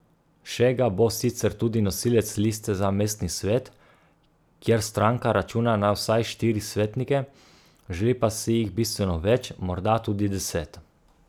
Šega bo sicer tudi nosilec liste za mestni svet, kjer stranka računa na vsaj štiri svetnike, želi pa si jih bistveno več, morda tudi deset.